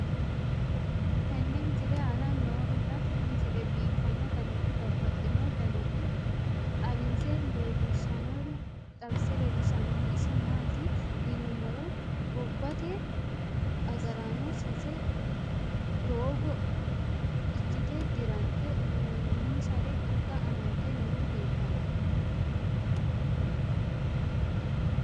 tenne misile aana noorina tini misile biiffanno garinni babaxxinno daniinni xawisse leelishanori isi maati yinummoro gobbatte agaraanno sase doogo ikkitte dirante uyiinonsare anga amadde noori leelittanno.